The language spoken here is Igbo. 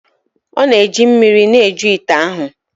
Ọ na-eji mmiri na-eju ite ahụ.